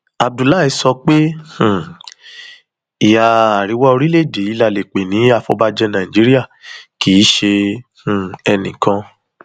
abdullahi sọ pé um ìhà àríwá orílẹèdè yìí la lè pè ní àfọbàjé nàìjíríà kì í ṣe um enìkan